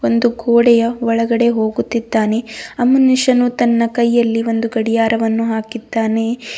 ಒಂದು ಗೋಡೆಯ ಒಳಗಡೆ ಹೋಗುತ್ತಿದ್ದಾನೆ ಆ ಮನುಷ್ಯನು ತನ್ನ ಕೈಯಲ್ಲಿ ಒಂದು ಗಡಿಯಾರವನ್ನು ಹಾಕಿದ್ದಾನೆ.